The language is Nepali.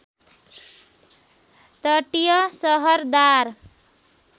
तटीय सहर दार